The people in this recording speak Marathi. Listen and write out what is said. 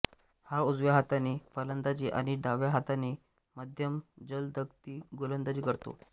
हा उजव्या हाताने फलंदाजी आणि डाव्या हाताने मध्यम जलदगती गोलंदाजी करतो